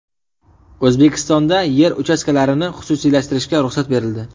O‘zbekistonda yer uchastkalarini xususiylashtirishga ruxsat berildi.